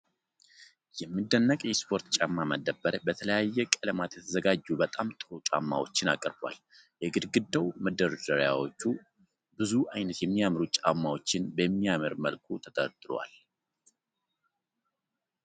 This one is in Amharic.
የሚደነቅ የስፖርት ጫማ መደብር በተለያዩ ቀለማት የተዘጋጁ በጣም ጥሩ ጫማዎችን አቅርቧል። የግድግዳው መደርደሪያዎች ብዙ አይነት የሚያምሩ ጫማዎችን በሚያምር መልኩ ተደርድረዋል።